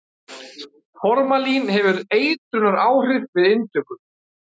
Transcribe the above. Formalín hefur eitrunaráhrif við inntöku.